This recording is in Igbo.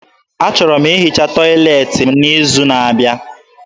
Achọrọ m ihicha tọyịleetị m n'izu n'abịa.